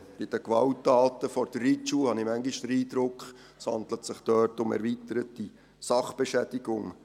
Bei den Gewalttaten vor der Reitschule habe ich manchmal den Eindruck, es handle sich dort um erweiterte Sachbeschädigung.